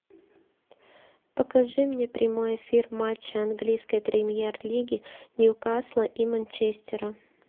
покажи мне прямой эфир матча английской премьер лиги ньюкасла и манчестера